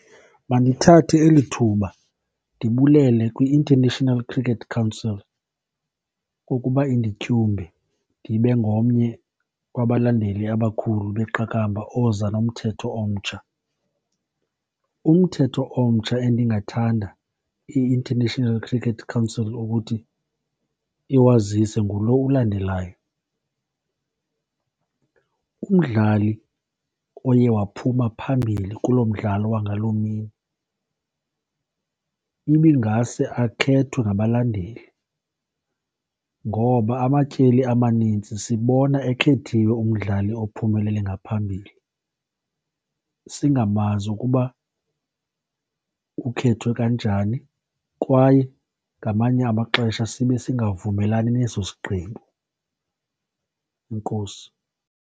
Mandithathe eli thuba ndibulele kwi-International Cricket Council ngokuba indityunge ndibe ngomnye wabalandeli abakhule beqakamba oza nomthetho omtsha. Umthetho omtsha endingathanga i-International Cricket Council ukuthi iwazise ngulo ulandelayo, umdlali oye waphuma phambili kuloo mdlalo wangaloo mini ibingase akhethwe ngabalandeli. Ngoba amatyeli amanintsi, sibona ekhethiwe umdlali ophumelele ngaphambili singamazi ukuba ukhethwe kanjani kwaye ngamanye amaxesha sibe singavumelani neso sigqibo. Enkosi.